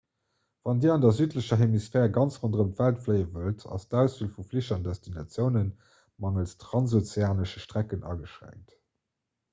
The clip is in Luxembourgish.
wann dir an der südlecher hemisphär ganz ronderëm d'welt fléie wëllt ass d'auswiel vu flich an destinatioune mangels transozeanesche strecken ageschränkt